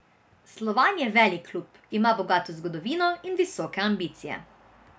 Slovan je velik klub, ima bogato zgodovino in visoke ambicije.